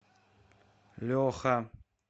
леха